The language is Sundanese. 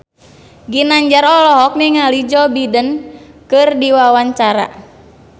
Ginanjar olohok ningali Joe Biden keur diwawancara